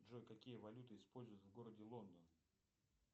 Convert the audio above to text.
джой какие валюты используют в городе лондон